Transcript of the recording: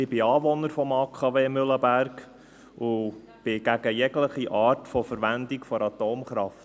Ich bin Anwohner des AKW Mühleberg und bin gegen jegliche von Verwendung von Atomkraft.